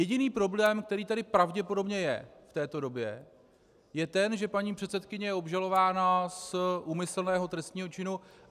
Jediný problém, který tady pravděpodobně je v této době, je ten, že paní předsedkyně je obžalována z úmyslného trestného činu.